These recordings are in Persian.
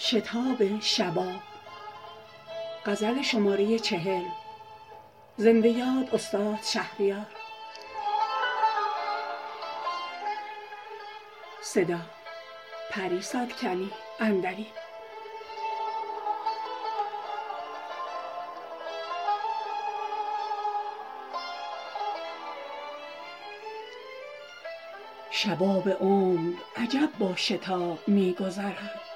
شباب عمر عجب با شتاب می گذرد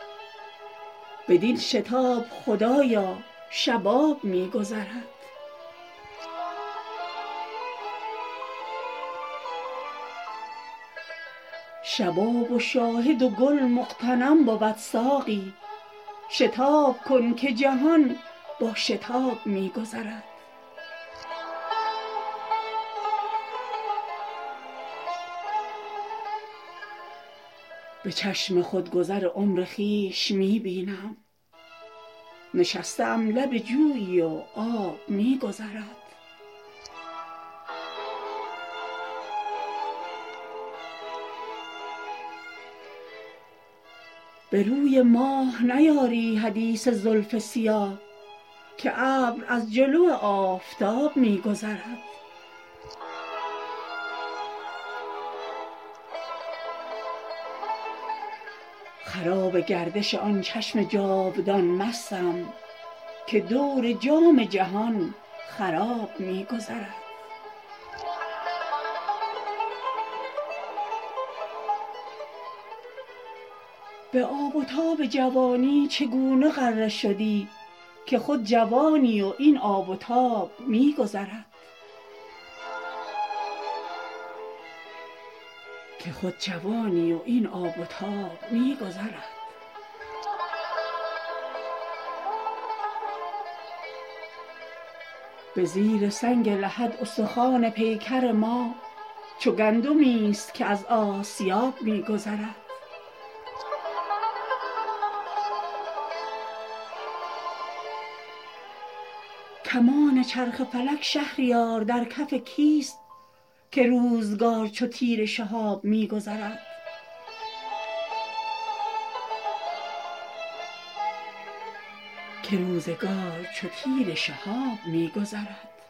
بدین شتاب خدایا شباب می گذرد شباب و شاهد و گل مغتنم بود ساقی شتاب کن که جهان با شتاب می گذرد خوش آن دقایق مستی که زیر سایه بید به ناله دف و چنگ و رباب می گذرد به چشم خود گذر عمر خویش می بینم نشسته ام لب جویی و آب می گذرد به روی ماه نیاری حدیث زلف سیاه که ابر از جلو آفتاب می گذرد غبار آینه دل حجاب دیده ماست وگرنه شاهد ما بی نقاب می گذرد چه الفتی ست میان من و سر زلفش که عمر من همه در پیچ و تاب می گذرد خراب گردش آن چشم جاودان مستم که دور جام جهان خراب می گذرد به یاد نرگس مست تو تا شدم مخمور خیال خواب به چشمم به خواب می گذرد به آب و تاب جوانی چگونه غره شدی که خود جوانی و این آب و تاب می گذرد به زیر سنگ لحد استخوان پیکر ما چو گندمی است که از آسیاب می گذرد کمان چرخ فلک شهریار در کف کیست که روزگار چو تیر شهاب می گذرد